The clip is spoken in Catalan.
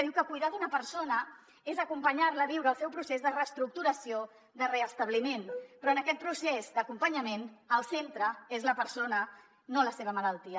diu que cuidar d’una persona és acompanyar la a viure el seu procés de reestructuració de restabliment però en aquest procés d’acompanyament el centre és la persona no la seva malaltia